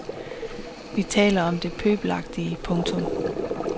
Vi taler om det pøbelagtige. punktum